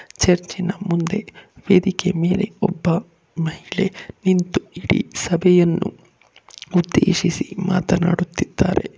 Church ನ ಮುಂದೆ ವೇದಿಕೆ ಮೇಲೆ ಒಬ್ಬ ಮಹಿಳೆ ನಿಂತು ಇಡೀ ಸಭೆಯನ್ನು ಉದ್ದೇಶಿಸಿ ಮಾತನಾಡುತ್ತಿದ್ದಾರೆ.